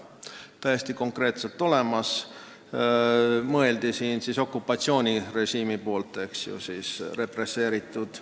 See on täiesti konkreetselt olemas ja mõeldud on okupatsioonirežiimi poolt represseerituid.